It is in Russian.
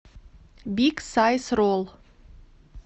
биг сайз ролл